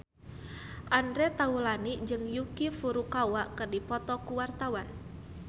Andre Taulany jeung Yuki Furukawa keur dipoto ku wartawan